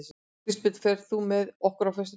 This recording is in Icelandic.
Kristbjörn, ferð þú með okkur á föstudaginn?